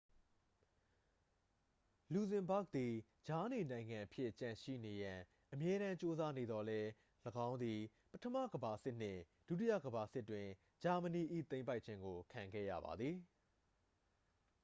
လူဇင်ဘာ့ဂ်သည် ကြားနေနိုင်ငံအဖြစ်ကျန်ရှိနေရန် အမြဲတမ်းကြိုးစားနေသော်လည်း ၎င်းသည် ပထမကမ္ဘာစစ်နှင့် ဒုတိယကမ္ဘာစစ်တွင် ဂျာမနီ၏သိမ်းပိုက်ခြင်းကို ခံခဲ့ရပါသည်